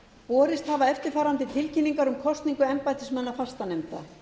borist hafa eftirfarandi tilkynningar um kosningu embættismanna fastanefnda